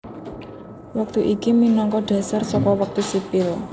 Wektu iki minangka dhasar saka wektu sipil